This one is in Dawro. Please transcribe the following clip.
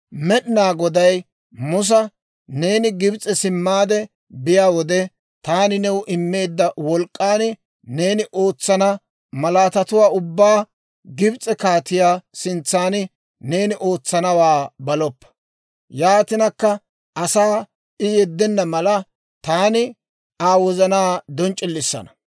Med'inaa Goday Musa, «Neeni Gibs'e simmaade biyaa wode, taani new immeedda wolk'k'an neeni ootsana malaatatuwaa ubbaa Gibs'e kaatiyaa sintsaan neeni ootsanawaa baloppa. Yaatinakka asaa I yeddenna mala, taani Aa wozanaa donc'c'ilisanna.